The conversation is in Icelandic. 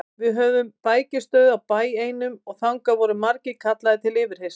Við höfðum bækistöð á bæ einum og þangað voru margir kallaðir til yfirheyrslu.